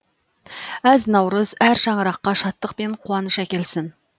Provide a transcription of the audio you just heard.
әз наурыз әр шаңыраққа шаттық пен қуаныш әкелсін